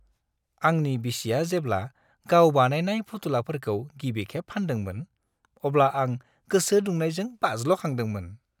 आंनि बिसिया जेब्ला गाव बानायनाय फुथुलाफोरखौ गिबिखेब फान्दोंमोन, अब्ला आं गोसो दुंखांनायजों बाज्ल'खांदोंमोन।